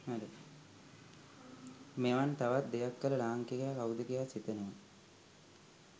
මෙවන් තවත් දෙයක් කල ලාංකිකයා කව්ද කියා සිතෙනවා